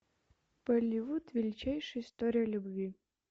болливуд величайшая история любви